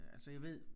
Altså jeg ved